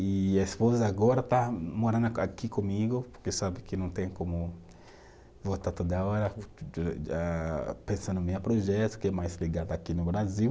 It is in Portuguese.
E a esposa agora está morando aqui comigo, porque sabe que não tem como voltar toda hora pensando projeto, que é mais ligado aqui no Brasil.